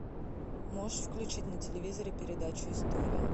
можешь включить на телевизоре передачу история